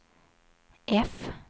F